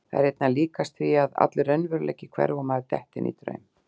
Það er einna líkast því að allur raunveruleiki hverfi og maður detti inn í draum.